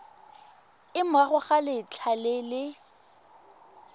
morago ga letlha le le